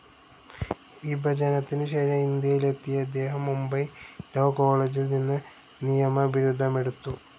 വിഭജനത്തിനുശേഷം ഇന്ത്യയിലെത്തിയ ഇദ്ദേഹം മുംബൈ ലാവ്‌ കോളേജിൽനിന്ന് നിയമബിരുദമെടുത്തു.